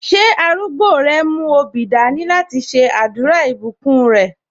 Ṣé arúgbó rẹ mú obì dání láti ṣe àdúrà ìbùkún rẹ?